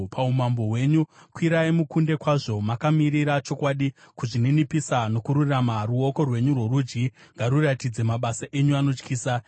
Paumambo hwenyu kwirai mukunde kwazvo, makamirira chokwadi, kuzvininipisa nokururama; ruoko rwenyu rworudyi ngaruratidze mabasa enyu anotyisa.